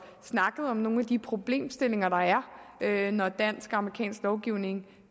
snakket om nogle af de problemstillinger der er når dansk og amerikansk lovgivning